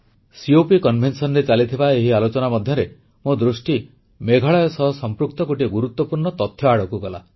COPସମ୍ମିଳନୀରେ ଚାଲିଥିବା ଏହି ଆଲୋଚନା ମଧ୍ୟରେ ମୋ ଦୃଷ୍ଟି ମେଘାଳୟ ସହ ସମ୍ପୃକ୍ତ ଗୋଟିଏ ଗୁରୁତ୍ୱପୂର୍ଣ୍ଣ ତଥ୍ୟ ଆଡ଼କୁ ଗଲା